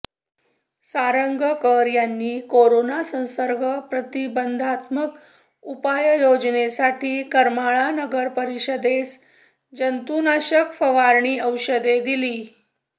सारंगकर यांनी कोराना संसर्ग प्रतिबंधात्मक उपाययोजनेसाठी करमाळा नगरपरीषदेस जंतुनाशक फवारणी औषधे दिली